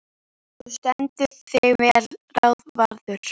Þú stendur þig vel, Ráðvarður!